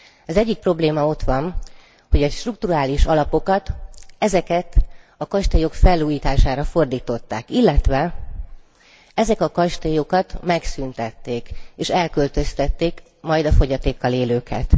Az egyik probléma ott van, hogy a strukturális alapokat, ezeket a kastélyok felújítására fordították, illetve ezeket a kastélyokat megszűntették és elköltöztették a fogyatékkal élőket.